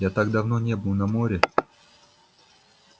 я так давно не был на море